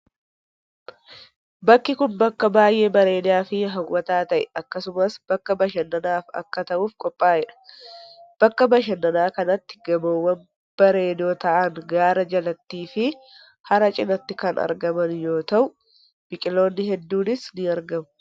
Bakki kun, bakka baay'ee bareedaa fi haw'ataa ta'e akkasumas bakka bashannanaaf akka ta'uuf qophaa'e dha. Bakka bashannanaa kanatti gamoowwan bareedoo ta'an gaara jalatti fi hara cinaatti kan argaman yoo ta'u, biqiloonni hedduunis ni argamu.